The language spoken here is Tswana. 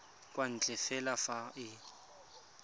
kwa ntle fela fa e